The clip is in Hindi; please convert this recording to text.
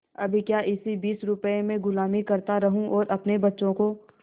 अब क्या इसी बीस रुपये में गुलामी करता रहूँ और अपने बच्चों को